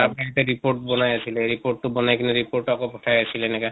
তাত সিহঁতে report বনাই আছিলে। report টো বনাই কিনে report টো আকৌ পঠাই আছিলে এনেকা।